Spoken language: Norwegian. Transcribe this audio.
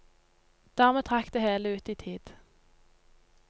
Dermed trakk det hele ut i tid.